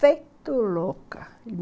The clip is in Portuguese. Feito louca.